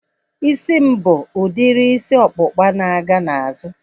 Isi m bụ udiri isi ọkpụkpa na-aga n'azụ